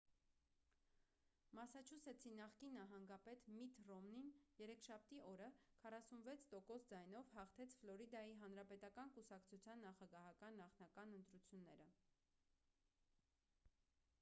մասաչուսեթսի նախկին նահանգապետ միթ ռոմնին երեքշաբթի օրը 46 տոկոս ձայնով հաղթեց ֆլորիդայի հանրապետական կուսակցության նախագահական նախնական ընտրությունները